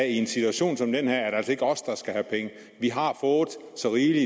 i en situation som den her er det altså ikke os der skal have penge vi har fået så rigeligt